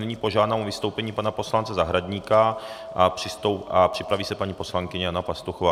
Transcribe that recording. Nyní požádám o vystoupení pana poslance Zahradníka a připraví se paní poslankyně Jana Pastuchová.